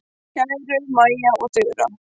Kæru Maja og Þura.